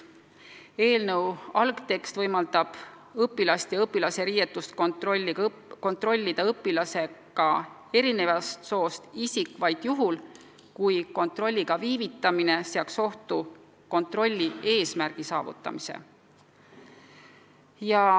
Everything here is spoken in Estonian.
Eelnõu algtekst võimaldab õpilast ja õpilase riideid kontrollida õpilasega erinevast soost isikul vaid juhul, kui kontrolliga viivitamine seaks ohtu kontrolli eesmärgi saavutamise.